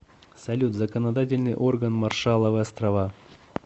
салют законодательный орган маршалловы острова